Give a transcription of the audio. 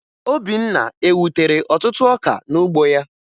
Obinna ewutere ọtụtụ ọka n'ugbo ya?